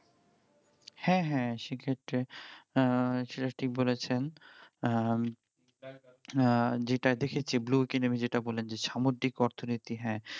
হ্যাঁ হ্যাঁ সেক্ষত্রে আহ সেটা ঠিক বলেছেন আহ উম আহ যে যে কি নামে যেটা বললেন যে সামুদ্রিক অর্থনীতি হ্যাঁ